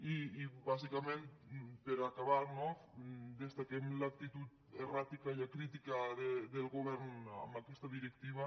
i bàsicament per acabar no destaquem l’actitud erràtica i acrítica del govern amb aquesta directiva